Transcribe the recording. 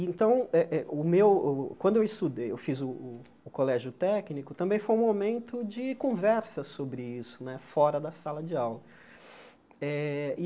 Então, eh eh o meu o quando eu estudei, eu fiz o colégio técnico, também foi um momento de conversa sobre isso né, fora da sala de aula né e.